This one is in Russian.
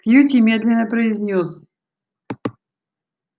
кьюти медленно произнёс